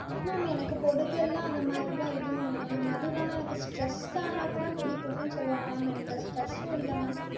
mam எனக்கு பொடுகெல்லாம் அந்த மாறிலாம் எதுவும் இல்லை mam. அதுவும் இல்லாம எனக்கு stress ஆனா கூட முடி கொட்டுனு சொல்லுவாங்க mam எனக்கு அந்த stress உம் இல்ல mam.